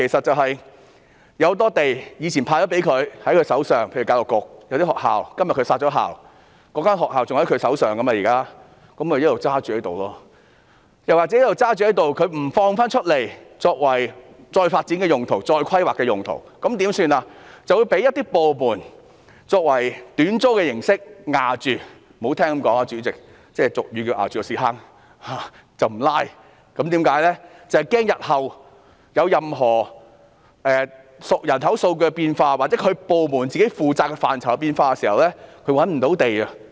多個部門以往獲分配多幅土地，例如教育局在某些學校被殺校後一直持有學校的用地，沒有釋放出來作再發展或再規劃用途，反而允許一些部門以短租形式霸佔，說得難聽一點，便是"佔着茅坑不拉屎"，以防日後人口數據或其部門負責的範疇出現變化時無法覓地。